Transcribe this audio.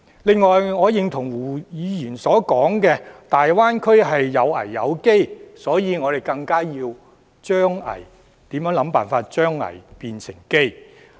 另外，我認同胡議員說大灣區有危有機，所以我們更要想辦法將危轉機。